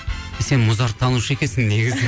сен музарттанушы екенсің негізі